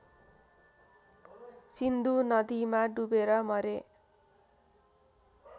सिन्धु नदीमा डुबेर मरे